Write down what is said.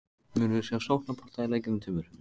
Munum við sjá sóknarbolta í leikjunum tveimur?